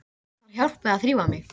Ég þarf hjálp við að þrífa mig.